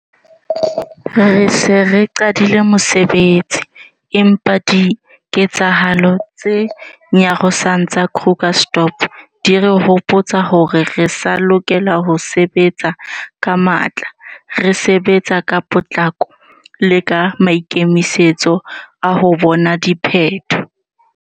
Re se re qadile mosebetsi, empa diketsehalo tse nyarosang tsa Krugersdorp di re hopotsa hore re sa lokela ho sebetsa ka matla, re sebetsa ka potlako le ka maikemisetso a ho bona diphetho.